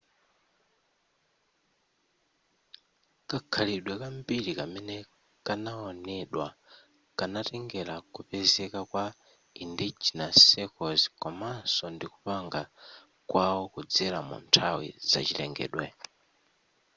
kakhalidwe kambiri kamene kanaonedwa kanatengera kupezeka kwa endogenous circles komanso ndikupanga kwawo kudzera munthawi zachilengedwe